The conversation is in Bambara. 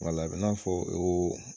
Wala, a bɛ n'a fɔ o